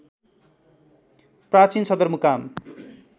प्राचीन सदरमुकाम